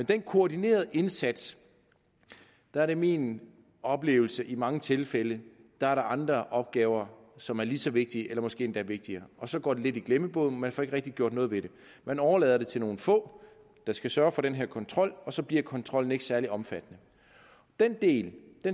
den koordinerede indsats er det min oplevelse i mange tilfælde er andre opgaver som er lige så vigtige eller måske endda vigtigere og så går det lidt i glemmebogen man får ikke rigtig gjort noget ved det man overlader det til nogle få der skal sørge for den her kontrol og så bliver kontrollen ikke særlig omfattende den del